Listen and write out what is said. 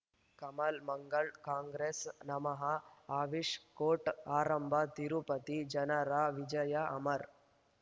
ಕಮಲ್ ಮಂಗಳ್ ಕಾಂಗ್ರೆಸ್ ನಮಃ ಅಮಿಷ್ ಕೋರ್ಟ್ ಆರಂಭ ತಿರುಪತಿ ಜನರ ವಿಜಯ ಅಮರ್